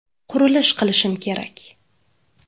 Qurilish qilishim kerak.